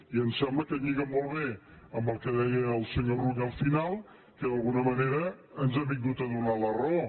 i em sembla que lliga molt bé amb el que deia el senyor rull al final que d’alguna manera ens ha vingut a donar la raó